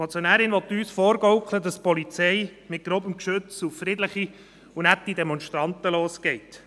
Die Motionärin will uns vorgaukeln, dass die Polizei mit grobem Geschütz auf friedliche und nette Demonstranten losgeht.